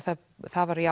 það það var